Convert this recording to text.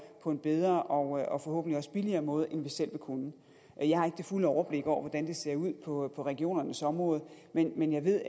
på en bedre og og forhåbentlig også billigere måde end selv ville kunne jeg har ikke det fulde overblik over hvordan det ser ud på regionernes område men jeg ved